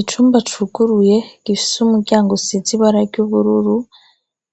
Icumba cuguruye gifise umuryango usize ibara ry'ubururu,